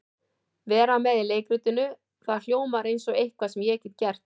Vera með í leikritinu, það hljómar eins og eitthvað sem ég get gert.